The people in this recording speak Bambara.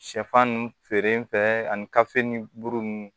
Sɛfan ninnu feere ani gafe ni buru ninnu